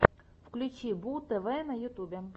включи бууу тв на ютюбе